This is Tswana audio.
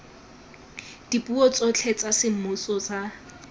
dipuo tsotlhe tsa semmuso tsa